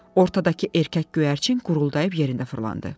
Ortadakı erkək göyərçin quruldaiıb yerinə fırlandı.